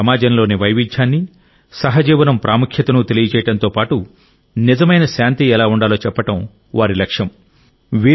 మన సమాజంలోని వైవిధ్యాన్ని సహజీవనం ప్రాముఖ్యతను తెలియజేయడంతో పాటు నిజమైన శాంతి ఎలా ఉండాలో చెప్పడం వారి లక్ష్యం